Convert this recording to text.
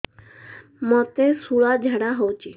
ମୋତେ ଶୂଳା ଝାଡ଼ା ହଉଚି